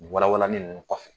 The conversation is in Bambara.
Ni walawalani nunnu kɔfɛ